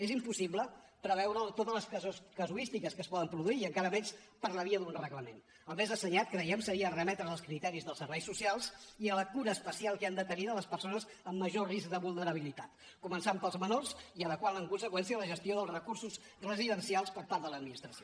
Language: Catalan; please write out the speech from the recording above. és impossible preveure totes les casuístiques que es poden produir i encara menys per la via d’un reglament el més assenyat creiem seria remetre’l als criteris dels serveis socials i a la cura especial que han de tenir de les persones amb major risc de vulnerabilitat començant pels menors i adequant en conseqüència la gestió dels recursos residencials per part de l’administració